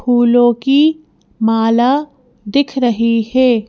फूलों की माला दिख रही है।